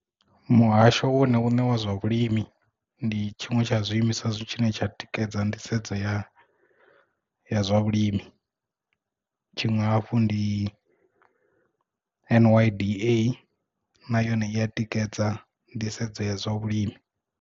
Muhasho wone une wa zwa vhulimi ndi tshiṅwe tsha zwi imiswa zwi tshine tsha tikedza nḓisedzo ya zwa vhulimi tshiṅwe hafhu ndi N_Y_D_A na yone i ya tikedza nḓisedzo ya zwa vhulimi.